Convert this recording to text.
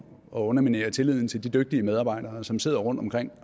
underminere tilliden til de dygtige medarbejdere som sidder rundtomkring